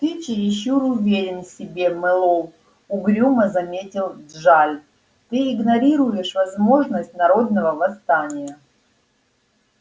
ты чересчур уверен в себе мэллоу угрюмо заметил джаль ты игнорируешь возможность народного восстания